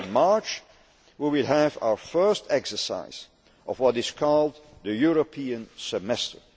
In March, we will have our first exercise of what is called the European Semester.